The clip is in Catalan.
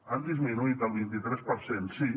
han disminuït al vint i tres per cent sí